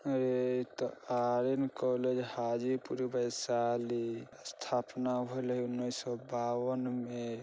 Aryan college Hajipur Vaishali स्थापना उन्नीस सौ बावन में।